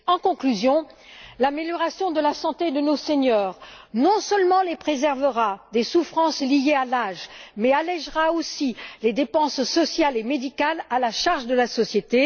En conclusion, l'amélioration de la santé de nos seniors non seulement les préservera des souffrances liées à l'âge, mais allègera aussi les dépenses sociales et médicales à la charge de la société.